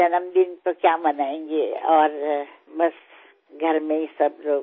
जन्म दिन तो क्या मनायेंगे और बस घर में ही सब लोग